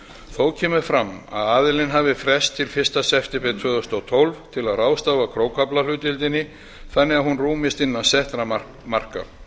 þó kemur fram að aðilinn hafi frest fram til fyrsta september tvö þúsund og tólf til að ráðstafa krókaaflahlutdeildinni þannig að hún rúmist innan settra marka